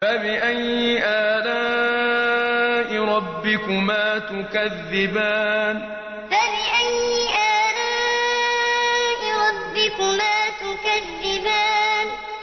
فَبِأَيِّ آلَاءِ رَبِّكُمَا تُكَذِّبَانِ فَبِأَيِّ آلَاءِ رَبِّكُمَا تُكَذِّبَانِ